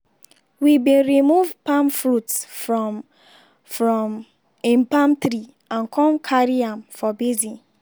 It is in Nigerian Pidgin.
we bin remove palm fruits from from im palm tree and con carry am for basin.